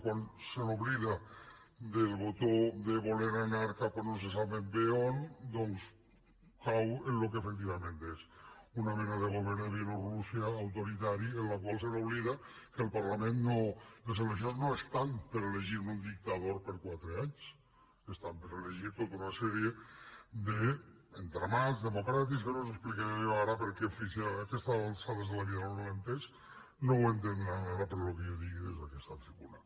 quan s’oblida del botó de voler anar cap a no se sap ben bé on doncs cau en el que efectivament és una mena de govern de bielo rússia autoritari el qual s’oblida que al parla·ment les eleccions no estan per a elegir un dictador per a quatre anys estan per a elegir tota una sèrie d’entra·mats democràtics que no els explicaré jo ara perquè en fi si a aquestes alçades de la vida no han entès no ho entendran ara pel que jo digui des d’aquesta tribuna